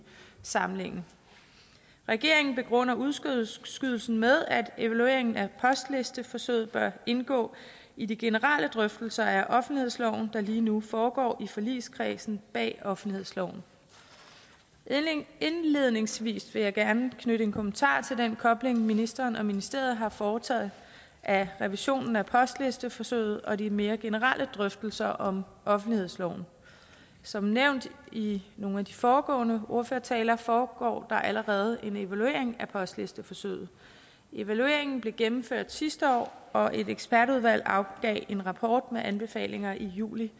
samlingen regeringen begrunder udskydelsen med at evalueringen af postlisteforsøget bør indgå i de generelle drøftelser af offentlighedsloven der lige nu foregår i forligskredsen der bag offentlighedsloven indledningsvis vil jeg gerne knytte en kommentar til den kobling som ministeren og ministeriet har foretaget af revisionen af postlisteforsøget og de mere generelle drøftelser om offentlighedsloven som nævnt i i nogle af de foregående ordførertaler foregår der allerede en evaluering af postlisteforsøget evalueringen blev gennemført sidste år og et ekspertudvalg afgav en rapport med anbefalinger i juli